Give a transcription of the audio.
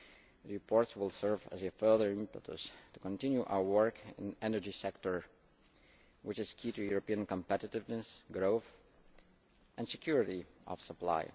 The reports will serve as a further impetus to continue our work in the energy sector, which is key to European competitiveness, growth and security of supply.